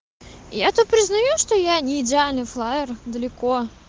я тут это признаю что я не идеальна флаер далеко